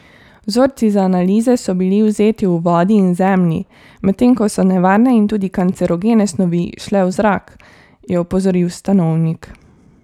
Vzorci za analize so bili vzeti v vodi in zemlji, medtem ko so nevarne in tudi kancerogene snovi šle v zrak, je opozoril Stanovnik.